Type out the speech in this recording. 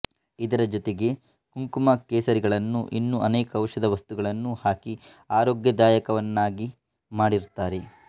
ಇದರ ಜೊತೆಗೆ ಕುಂಕುಮ ಕೇಸರಿಗಳನ್ನೂ ಇನ್ನೂ ಅನೇಕ ಔಷಧ ವಸ್ತುಗಳನ್ನೂ ಹಾಕಿ ಆರೋಗ್ಯದಾಯಕವನ್ನಾಗಿ ಮಾಡಿರುತ್ತಾರೆ